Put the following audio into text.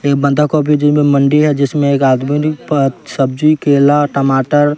एक बंधा का भी जिसमें मंडी है जिसमें एक आदमी पत्त सब्जी केला टमाटर--